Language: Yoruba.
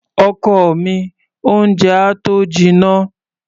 Ọkọ mi, oúnjẹ á tó jinná.